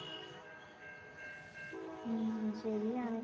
ഉം ശരിയാണ്.